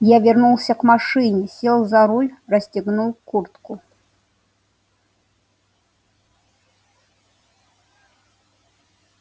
я вернулся к машине сел за руль расстегнул куртку